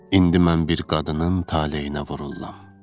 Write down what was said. İndi mən bir qadının taleyinə vururam.